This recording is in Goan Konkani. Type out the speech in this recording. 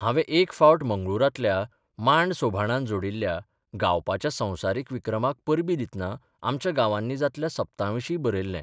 हांवें एक फावट मंगळूरांतल्या मांड सोभाणान जोडिल्ल्या गावपाच्या संवसारीक विक्रमाक परबीं दितना आमच्या गांवांनी जातल्या सप्तांविशीं बरयल्लें.